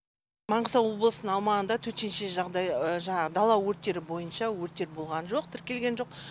маңғыстау облысының аумағында төтенше жағдай жаңағы дала өрттері бойынша өрттер болған жоқ тіркелген жоқ